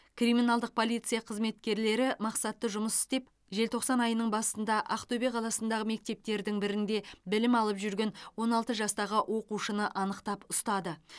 криминалдық полиция қызметкерлері мақсатты жұмыс істеп желтоқсан айының басында ақтөбе қаласындағы мектептердің бірінде білім алып жүрген он алты жастағы оқушыны анықтап ұстады